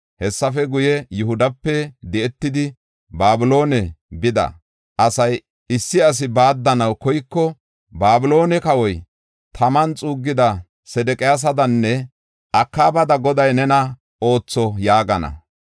Hessafe guye, Yihudape di7etidi, Babiloone bida asay issi asi baaddanaw koyiko, ‘Babiloone kawoy taman xuuggida Sedeqiyasadanne Akaabada Goday nena ootho’ yaagana.